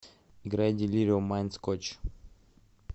играй делирио майнд скотч